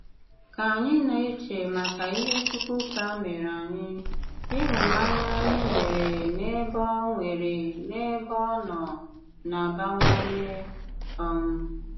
Kà ànyị na-eche màkà ìhè Chùkwùká mèré ànyị, ìhụ̀nànyà ànyị nwere n’ebe ọ nwere n’ebe ọ nọ na-abàwànyè. um